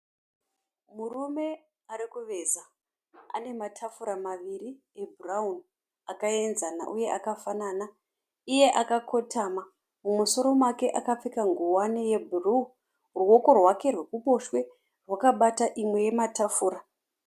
Murume arikuveza. Ane matafura maviri ebhurawuni akaenzama uye akafanana. Iye akakotama. Mumusoro make akapfeka ngowani yebhuruu. Ruoko rwake rwekuruboshwe rwakabata imwe yematafura.